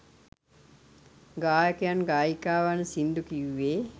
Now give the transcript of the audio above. ගායකයන් ගායිකාවන් සිංදු කිව්වේ